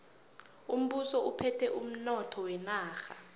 umbuso uphethe umnotho wenarha